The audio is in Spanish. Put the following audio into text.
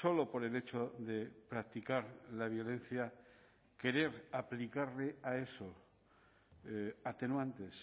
solo por el hecho de practicar la violencia querer aplicarle a eso atenuantes